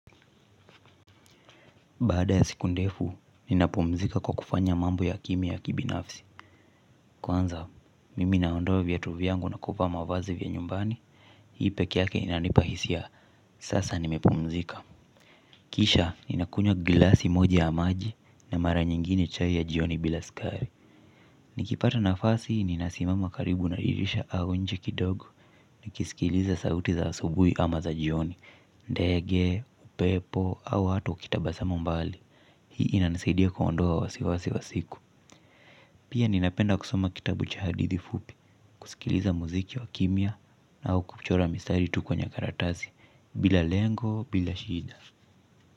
Baada ya siku ndefu, ninapumzika kwa kufanya mambo ya kimya ya kibinafsi. Kwanza, mimi naondoa viatu vyangu na kuvaa mavazi vya nyumbani, hii peke yake inanipa hisia, sasa nimepumzika. Kisha, ninakunywa glasi moja ya maji na mara nyingine chai ya jioni bila skari. Nikipata nafasi, ninasimama karibu na dirisha au nje kidogo, nikisikiliza sauti za asubui ama za jioni, ndege, upepo, au hata ukitabasamu mbali. Hii inanisaidia kuondoa wasiwasi wa siku. Pia ninapenda kusoma kitabu cha hadithi fupi. Kusikiliza muziki wa kimya au kuchora mistari tu kwenye karatasi. Bila lengo, bila shida.